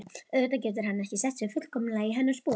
Auðvitað getur hann ekki sett sig fullkomlega í hennar spor.